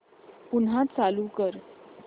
पुन्हा चालू कर